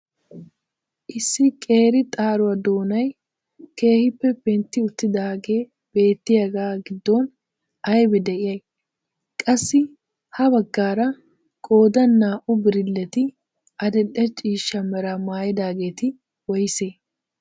issi qeri xaaruwaa doonay keehippe pentti uttidaagee beettiyaagaa giddon aybee de'iyay? qassi ha baggaara qoodan naa"u birilleti adil'e ciishsha meraa maayidageti woysee?